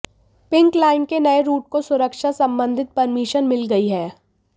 pink line के नए route को सुरक्षा संबंधित परमिशन मिल गई है